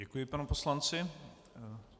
Děkuji panu poslanci.